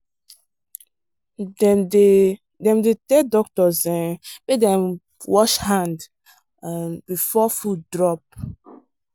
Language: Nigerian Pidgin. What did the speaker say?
dem dey dem dey tell doctors um make dem wash hand um before food drop.